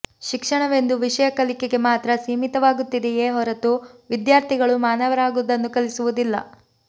ಶಿಕ್ಷಣವೆಂದು ವಿಷಯ ಕಲಿಕೆಗೆ ಮಾತ್ರ ಸೀಮಿತವಾಗುತ್ತಿದೆಯೇ ಹೊರತು ವಿದ್ಯಾರ್ಥಿಗಳು ಮಾನವರಾಗುವುದನ್ನು ಕಲಿಸುವುದಿಲ್ಲ